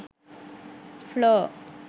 floor